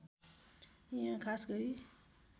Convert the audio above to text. यहाँ खास गरी